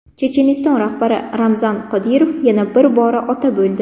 Checheniston rahbari Ramzan Qodirov yana bir bora ota bo‘ldi.